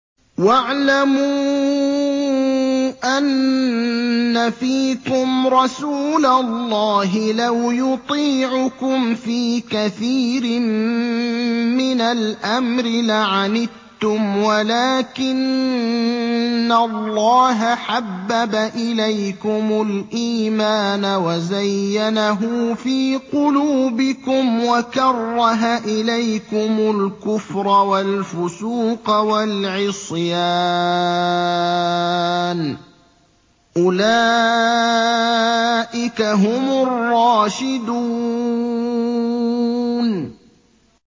وَاعْلَمُوا أَنَّ فِيكُمْ رَسُولَ اللَّهِ ۚ لَوْ يُطِيعُكُمْ فِي كَثِيرٍ مِّنَ الْأَمْرِ لَعَنِتُّمْ وَلَٰكِنَّ اللَّهَ حَبَّبَ إِلَيْكُمُ الْإِيمَانَ وَزَيَّنَهُ فِي قُلُوبِكُمْ وَكَرَّهَ إِلَيْكُمُ الْكُفْرَ وَالْفُسُوقَ وَالْعِصْيَانَ ۚ أُولَٰئِكَ هُمُ الرَّاشِدُونَ